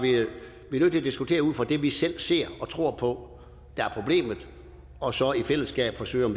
her i diskutere ud fra det vi selv ser og tror på er problemet og så i fællesskab forsøge at